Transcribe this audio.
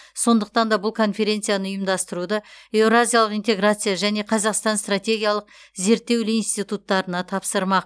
сондықтан да бұл конференцияны ұйымдастыруды еуразиялық интеграция және қазақстан стратегиялық зерттеулі институттарына тапсырмақ